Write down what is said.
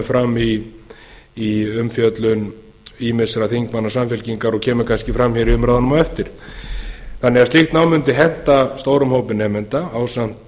fram í umfjöllun ýmissa þingmanna samfylkingarinnar og kemur kannski fram hér í umræðunum á eftir slíkt nám mundi því henta stórum hópi nemenda ásamt